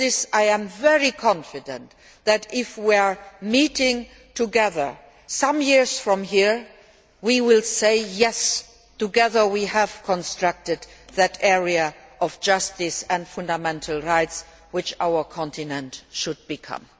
I am very confident that, if we should meet together some years from now, we will say, yes, together we have constructed that area of justice and fundamental rights which our continent must become.